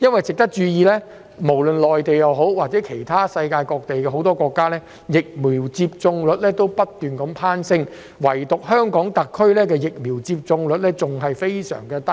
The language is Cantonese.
值得注意的是，內地及世界各國的疫苗接種率均不斷攀升，唯獨香港特區的疫苗接種率仍然很低。